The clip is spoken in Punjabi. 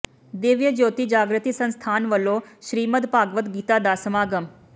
ਦਿਵਯ ਜਯੋਤੀ ਜਾਗ੍ਰਤੀ ਸੰਸਥਾਨ ਵਲੋਂ ਸ੍ਰੀਮਦ ਭਾਗਵਤ ਕਥਾ ਦਾ ਸਮਾਗਮ